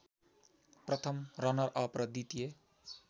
प्रथम रनरअप र द्वितीय